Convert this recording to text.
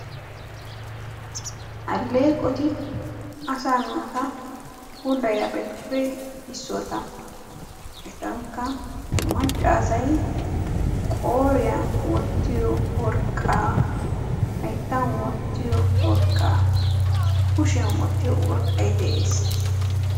Alleeqoti asaa naata puulayiyabatuppe issoota. Etankka maccaasay qooriyan wottiyo worqqaa, hayittan wottiyo worqqaa, kushiyan wottiyo worqqay de'es.